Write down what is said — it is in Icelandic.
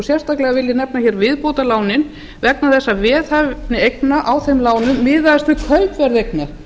sérstaklega vil ég hér nefna viðbótarlánin vegna þess að veðhæfni eigna á þeim lánum miðaðist við kaupverð eigna